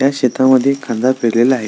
या शेता मध्ये कांदा पेरलेला आहे.